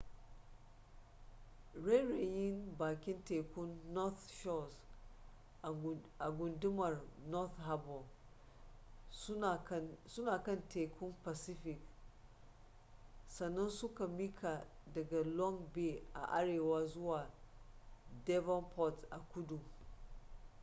rairayin bakin tekun north shores a gundumar north harbour suna kan tekun pacific sannan suka miƙa daga long bay a arewa zuwa devonport a kudu